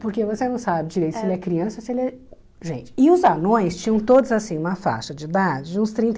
Porque você não sabe direito se ele é criança ou se ele é gente... E os anões tinham todos assim uma faixa de idade de uns trinta e